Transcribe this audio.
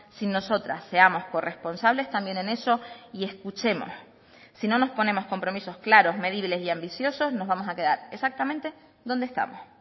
sin nosotras seamos corresponsables también en eso y escuchemos si no nos ponemos compromisos claros medibles y ambiciosos nos vamos a quedar exactamente donde estamos